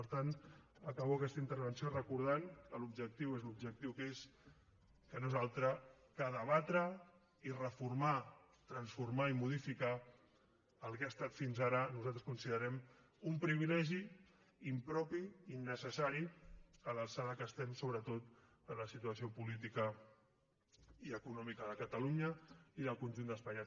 per tant acabo aquesta intervenció recordant que l’objectiu és l’objectiu que és que no és altre que debatre i reformar transformar i modificar el que ha estat fins ara nosaltres ho considerem un privilegi impropi innecessari a l’alçada que estem sobretot de la situació política i econòmica de catalunya i del conjunt d’espanya